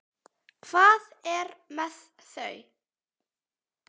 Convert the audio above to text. Hvað er með þau?